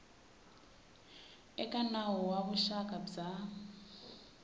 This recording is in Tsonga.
eka nawu wa vuxaka bya